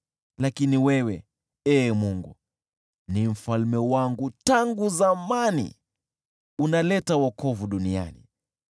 Lakini wewe, Ee Mungu, ni mfalme wangu tangu zamani, unaleta wokovu duniani.